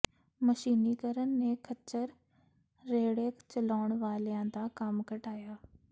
ਮਸ਼ੀਨੀਕਰਨ ਨੇ ਖੱਚਰ ਰੇਹੜੇ ਚਲਾਉਣ ਵਾਲਿਆਂ ਦਾ ਕੰਮ ਘਟਾਇਆ